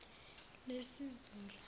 lesizulu